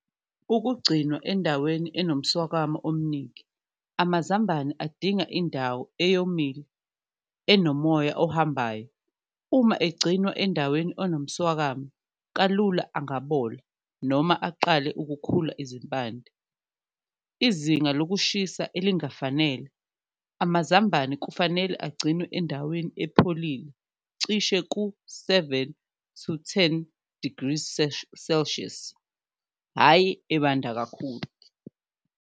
Ukugcinwa endaweni enomswakamo omningi amazambane adinga indawo eyomile, enomoya ohambayo, uma egcinwa endaweni onomswakama kalula angabola noma aqale ukukhula izimpande. Izinga lokushisa elingafanele, amazambane kufanele agcinwe endaweni epholile cishe ku-seven to ten degrees celsius, hhayi ebanda kakhulu.